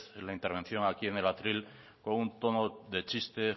la intervención aquí en el atril con un tono de chiste